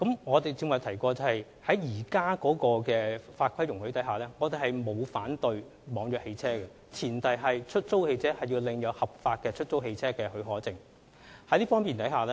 我剛才也提過，根據現有的法規，我們並不反對網約車，前提是出租汽車必須領有合法的出租汽車許可證。